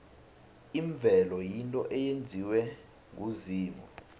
imvelo yinto eyenziwe nguzimu